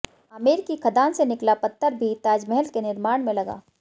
आमेर की खदान से निकला पत्थर भी ताजमहल के निर्माण में लगा